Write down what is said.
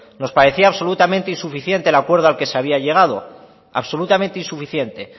nos parecía absolutamente insuficiente el acuerdo al que se había llegado absolutamente insuficiente